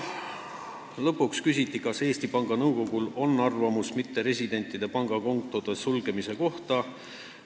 Lõpuks küsiti, kas Eesti Panga Nõukogul on arvamus mitteresidentide pangakontode sulgemise kohta.